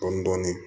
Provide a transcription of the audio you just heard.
Dɔɔnin dɔɔnin